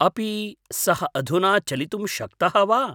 आपि सः अधुना चलितुं शक्तः वा?